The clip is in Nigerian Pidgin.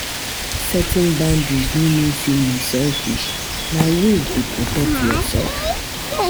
Setting boundaries no mean say yu selfish, na way to protect yursef.